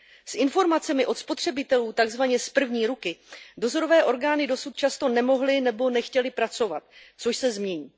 S informacemi od spotřebitelů takzvaně z první ruky dozorové orgány dosud často nemohly nebo nechtěly pracovat, což se změní.